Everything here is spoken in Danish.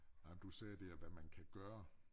Ej men du sagde det her hvad man kan gøre